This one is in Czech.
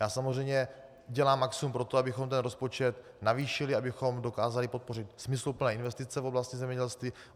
Já samozřejmě dělám maximum pro to, abychom ten rozpočet navýšili, abychom dokázali podpořit smysluplné investice v oblasti zemědělství.